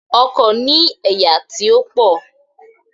Ọkò ní ẹ̀yà tí ó pò